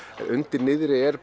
undir niðri er